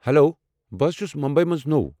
Hello, بہٕ ہز چھُس مٗمبی منٛز نوٚو۔